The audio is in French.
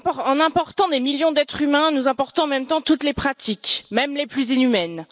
En important des millions d'êtres humains, nous importons en même temps toutes les pratiques, même les plus inhumaines.